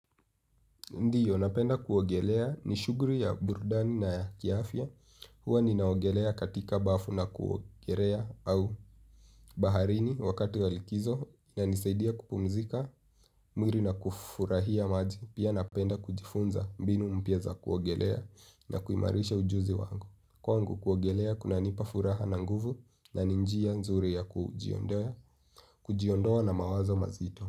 Ndiyo napenda kuogelea ni shughuli ya burudani na kiafya huwa ninaogelea katika bafu na kuogelea au baharini wakati wa likizo inanisaidia kupumzika mwili na kufurahia maji pia napenda kujifunza mbinu mpya za kuogelea na kuimarisha ujuzi wangu. Kwangu kuogelea kunanipa furaha na nguvu na ni njia nzuri ya kujiondoa na mawazo mazito.